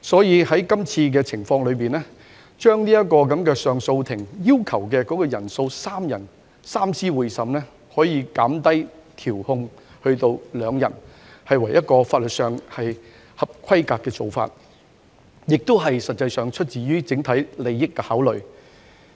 因此，有關修訂建議將上訴法庭上訴法官的組成人數由3名法官——即所謂的"三司會審"——減至2名，屬法律上合規格的做法，實際上亦是基於對整體利益的考慮。